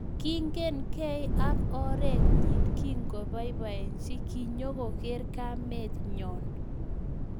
Kingen gei ak oreet nyii kikipaipachii kinyokoker kameet nyoo